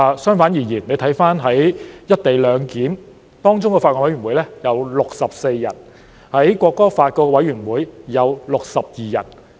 相反，回看"一地兩檢"的法案委員會有64人，《國歌條例》的法案委員會有62人。